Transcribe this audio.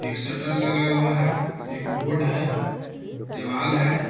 एक शटल लगा हुआ है। एक बोर्ड है। देवाल है।